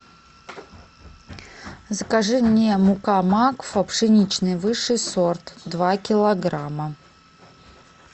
закажи мне мука макфа пшеничная высший сорт два килограмма